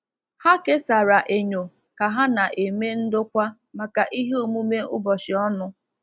Ha kesara enyo ka ha na-eme ndokwa maka ihe omume ụbọchị ọnụ.